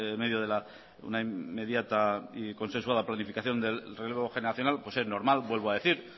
medio de una inmediata y consensuada planificación del relevo generacional es normal vuelvo a decir